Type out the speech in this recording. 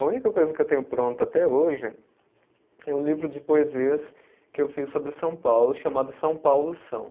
A única coisa que eu tenho pronta até hoje é um livro de poesias que eu fiz sobre São Paulo, chamado São Paulo São.